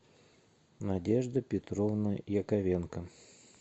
надежда петровна яковенко